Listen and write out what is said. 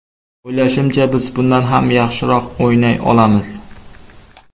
O‘ylashimcha, biz bundan ham yaxshiroq o‘ynay olamiz.